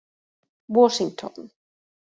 Washington